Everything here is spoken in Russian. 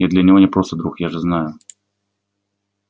я для него не просто друг я же знаю